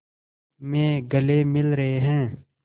में गले मिल रहे हैं